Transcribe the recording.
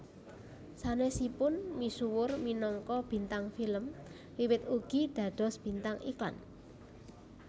Sanesipun misuwur minangka bintang film Wiwit ugi dados bintang iklan